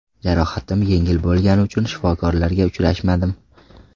Jarohatim yengil bo‘lgani uchun shifokorlarga uchrashmadim.